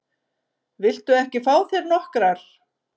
Viltu ekki fá þér nokkrar?